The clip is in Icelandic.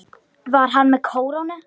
Var hann með kórónu?